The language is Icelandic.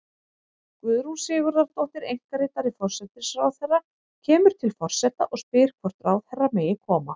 Guðrún Sigurðardóttir, einkaritari forsætisráðherra, kemur til forseta og spyr hvort ráðherra megi koma.